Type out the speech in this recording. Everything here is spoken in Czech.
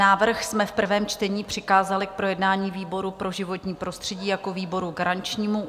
Návrh jsme v prvém čtení přikázali k projednání výboru pro životní prostředí jako výboru garančnímu.